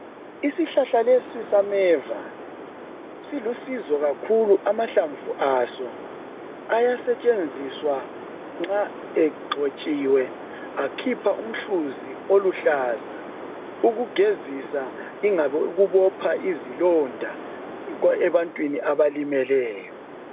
Isihlahla lesi sameva silusizo kakhulu amahlamvu aso ayasetshenziswa nxa egxotshiwe akhipha umhluzi oluhlaza ukugezisa yingabe ukubopha izilonda ebantwini abalimeleyo